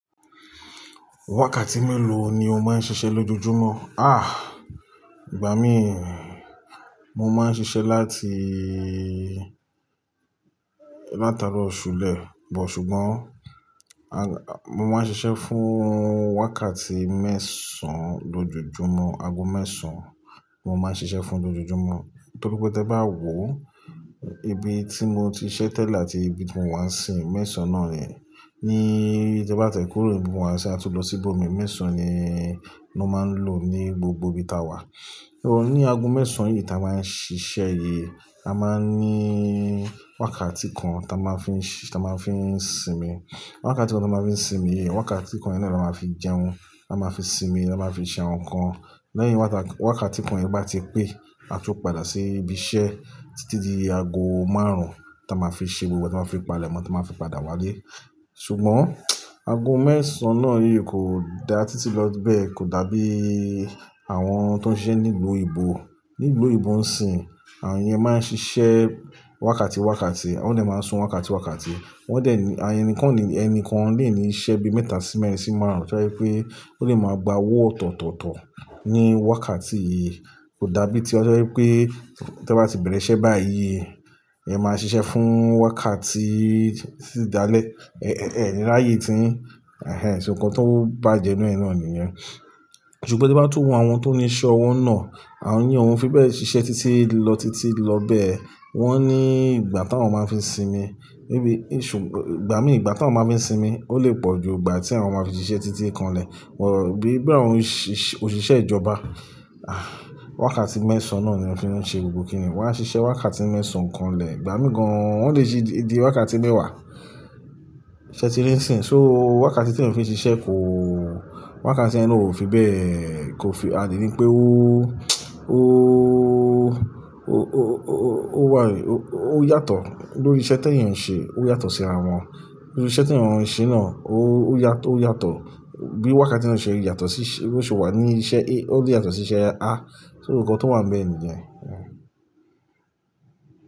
Wákàtí mélòó ni o máa ń ṣiṣẹ́ lójoojúmọ́? Ah! Ìgbà mí, mo máa ń ṣiṣẹ́ láti, látaro ṣùlẹ̀, bọ̀ ṣùgbọ́n, mo máa ń ṣiṣẹ́ fún wákàtí mẹ́sàn lójoojúmọ́, ago mẹ́sàn mo máa ń ṣiṣẹ́ fún lójoojúmọ́. Torí pé tí ẹ bá wò ibi tí mo ti ṣiṣẹ́ tẹ́lẹ̀ àti ibi tí mò ń wá sì mẹ́sàn náà rí, ní ibi tí ẹ bá tẹ́ kúrò ibi wàá sì a tó lọ sí ibòmìí mẹ́sàn ni mo máa ń lò ní gbogbo ibi táa wà. O ní ago mẹ́sàn yìí táa máa ń ṣiṣẹ́ yìí, a máa ní wákàtí kan táa máa fi ṣi, táa máa fi sinmi. Wákàtí kan táa máa fi sinmi, wákàtí kan iná ló máa fi jẹun, a máa fi sinmi, a máa fi ṣe àwọn nǹkan. Lẹ́yìn wákàtí kan yìí bá ti pé, a tó padà sí ibi iṣẹ́ títí di ago márùn-ún táa máa fi ṣe gbogbo, táa máa fi palẹ̀mọ́, táa máa fi padà wálé. Ṣùgbọ́n ago mẹ́sàn náà yìí kò dá títí lọ bẹ́ẹ̀ kò dàbí àwọn tó ń ṣe nílùú òyìnbó. Nílùú òyìnbó o ń sìn, àwọn yẹn máa ń ṣiṣẹ́ wákàtí wákàtí, wọn ni máa ń sùn wákàtí wákàtí. Wọ́n dà ní-- ayé ẹnìkan ni, ẹni kankan lè ní iṣẹ́ bi mẹ́ta sí mẹ́rin sí márùn-ún kí ó tó rí pé ó lè máa gba owó ọ̀tọ̀tọ̀tọ̀ ní wákàtí yìí. Kò dàbí tí ẹ tó rí pé tí ẹ bá ti bẹ̀rẹ̀ iṣẹ́ báyìí, ẹ máa ṣiṣẹ́ fún wákàtí títí dá lẹ́, ẹ́ ráyé tín. Ehn, ṣe nǹkan tó bá jẹnu ẹnu nìyẹn. Ṣùgbọ́n tí ẹ bá tún wo àwọn tó ní iṣẹ́ ọwọ́ nà, àwọn yẹn, wọn fi bẹ́ẹ̀ ṣiṣẹ́ títí lọ títí lọ bẹ́ẹ̀. Wọ́n ní ìgbà táwọn máa ń fi sinmi. Bíi, ìṣùgb-- ìgbà mí ìgbà táwọn máa ń fi sinmi ó lè pọ̀ ju ìgbà tí àwọn máa fi ṣiṣẹ́ títí kanlẹ̀. Wọ̀ bíi àwọn òṣìṣẹ́ ìjọba, ah! Wákàtí mẹ́sàn náà ni wọn fi ń ṣe gbogbo kíni. Wọn á ṣiṣẹ́ wákàtí mẹ́sàn kanlẹ̀, ìgbà mí gan-an wọn lè ṣe di wákàtí mẹ́wàá. Ṣé tí lè ń sìn. So wákàtí tí wọ́n fi ṣiṣẹ́ kò, wákàtí ẹni ló fi bẹ́ẹ̀ kò fi, a lè ní pé ó, ó, ó, ó, ó wà, ó yàtọ̀ lórí iṣẹ́ tí ẹ̀yin ń ṣe, ó yàtọ̀ sí àwọn, lórí iṣẹ́ tí àwọn ẹ̀yin ń ṣe náà ó yàtọ̀, ó yàtọ̀ bí wákàtí tí wọn ṣe yàtọ̀ sí iṣẹ́, bí òṣùwọ̀n ni iṣẹ́ èyí, ó yàtọ̀ sí iṣẹ́ ya. Ah! So nǹkan tó wà níbẹ̀ nìyẹn. Ehn.